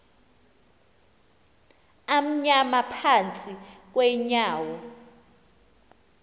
amnyama phantsi kweenyawo